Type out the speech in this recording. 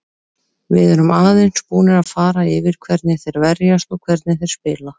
Við erum aðeins búnir að fara yfir hvernig þeir verjast og hvernig þeir spila.